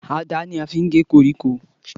Àdá ni a fi ń gé koríko